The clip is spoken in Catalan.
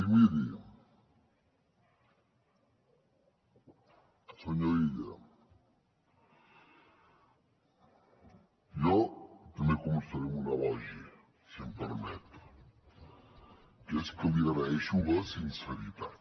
i miri senyor illa jo també començaré amb un elogi si em permet que és que li agraeixo la sinceritat